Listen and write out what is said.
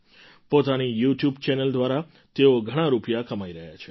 પોતાની YouTube channel દ્વારા તેઓ ઘણા રૂપિયા કમાઈ રહ્યા છે